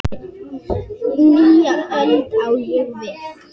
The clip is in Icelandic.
Nýja öld, á ég við.